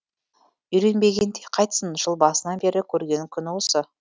үйренбегенде қайтсін жыл басынан бері көрген күні осы